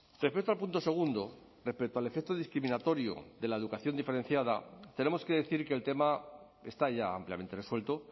respecto al punto segundo respecto al efecto discriminatorio de la educación diferenciada tenemos que decir que el tema está ya ampliamente resuelto